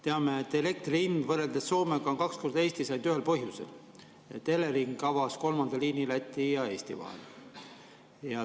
Teame, et elektri hind võrreldes Soomega on Eestis kaks korda ainult ühel põhjusel: Elering avas kolmanda liini Läti ja Eesti vahel.